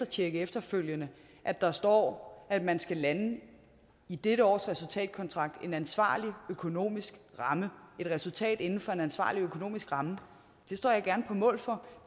tjekke efterfølgende at der står at man skal lande i dette års resultatkontrakt en ansvarlig økonomisk ramme et resultat inden for en ansvarlig økonomisk ramme det står jeg gerne på mål for